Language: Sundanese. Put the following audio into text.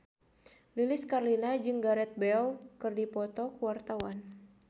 Lilis Karlina jeung Gareth Bale keur dipoto ku wartawan